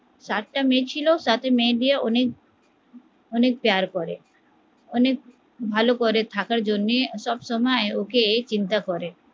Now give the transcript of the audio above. সাতটা মেয়ে ছিল সাতটা মেয়ে দিয়ে উনি অনেক অনেক পেয়ার করে অনেক ভালো করে থাকার জন্য সবসময় ওকে চিন্তা করে